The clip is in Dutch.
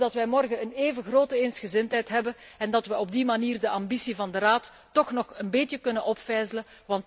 Ik hoop dat wij morgen een even grote eensgezindheid hebben en dat wij op die manier de ambitie van de Raad toch nog een beetje kunnen opvijzelen.